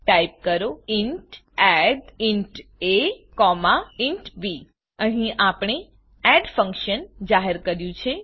type કરો int addઇન્ટ a int b અહી આપણે એડ ફંક્શન જાહેર કર્યું છે